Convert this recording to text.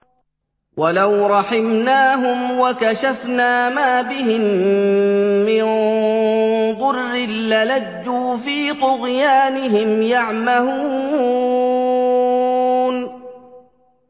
۞ وَلَوْ رَحِمْنَاهُمْ وَكَشَفْنَا مَا بِهِم مِّن ضُرٍّ لَّلَجُّوا فِي طُغْيَانِهِمْ يَعْمَهُونَ